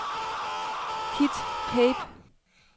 Kit Pape